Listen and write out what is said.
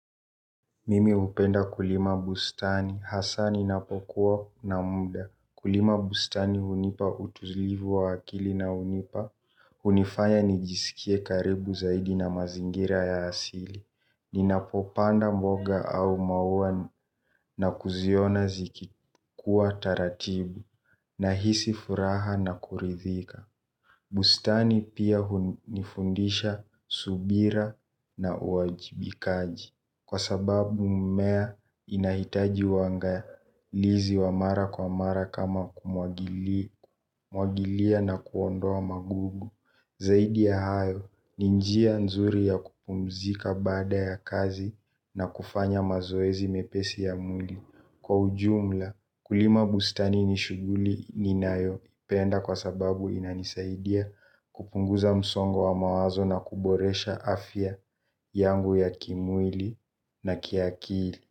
Mimi hupenda kulima bustani. Hasa ninapokuwa na muda. Kulima bustani hunipa utulivu wa akili na hunipa. Hunifanya nijisikie karibu zaidi na mazingira ya asili. Ninapopanda mboga au maua na kuziona zikikua taratibu nahisi furaha na kuridhika. Bustani pia hunifundisha subira na uwajibikaji. Kwa sababu mmea inahitaji uangalizi wa mara kwa mara kama kumwagilia na kuondoa magugu. Zaidi ya hayo ni njia nzuri ya kupumzika baada ya kazi na kufanya mazoezi mepesi ya mwili. Kwa ujumla kulima bustani ni shughuli ninayopenda kwa sababu inanisaidia kupunguza msongo wa mawazo na kuboresha afya yangu ya kimwili na kiakili.